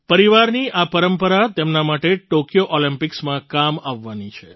પરિવારની આ પરંપરા તેમના માટે ટૉક્યો ઑલિમ્પિક્સમાં કામ આવવાની છે